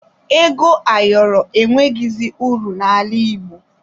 Ego ayọrọ enweghizi uru n'ala Igbo